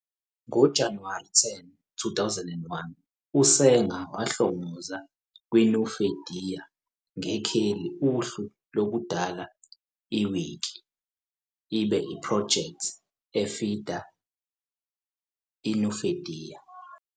Ngo-January 10, 2001, Sanger ohlongozwayo on the Nupedia sekheli ohlwini ukudala Wiki njengoba project a "feeder" for Nupedia.